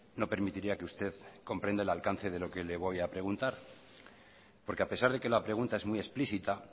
no permitiría que usted comprenda el alcance de lo que le voy a preguntar porque a pesar de que la pregunta es muy explícita